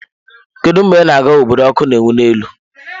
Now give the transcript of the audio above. Kedu mgbe ị na-aga obodo ọkụ na-enwu n'elu?